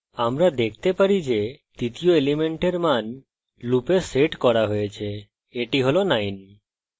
আমরা দেখতে পারি যে তৃতীয় element মান loop set করা হয়েছে এবং এটি has 9